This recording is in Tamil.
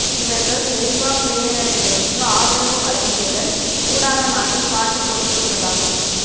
இவர்கள் ஜெனீவா பிரேரணைகளுக்கு ஆதரவு வழங்கியதன் ஊடாக நாட்டைக் காட்டிக் கொடுத்துள்ளதாகவும்